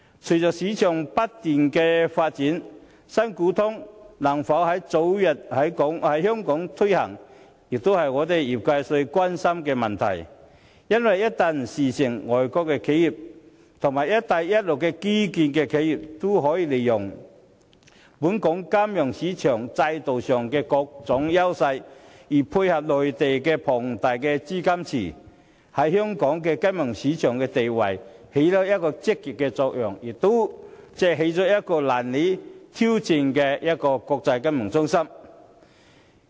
隨着市場不斷發展，"新股通"能否早日在香港推行，是我們業界最關心的問題，因為一旦事成，外國企業及"一帶一路"的基建企業便可利用本港金融市場的各種優勢進行集資，另再配合內地龐大的資金池，這項舉措將對香港金融市場的地位發揮積極作用，令香港可以成為難以挑戰的國際金融中心。